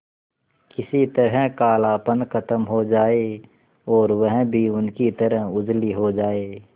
किसी तरह कालापन खत्म हो जाए और वह भी उनकी तरह उजली हो जाय